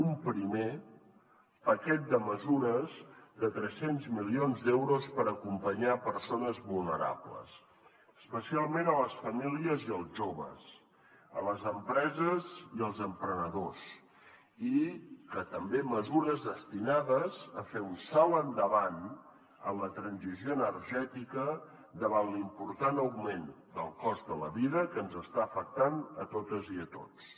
un primer paquet de mesures de tres cents milions d’euros per acompanyar persones vulnerables especialment a les famílies i els joves a les empreses i els emprenedors i també mesures destinades a fer un salt endavant en la transició energètica davant l’important augment del cost de la vida que ens està afectant a totes i a tots